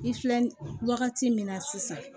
I filɛ ni wagati min na sisan